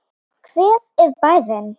Hver er bærinn?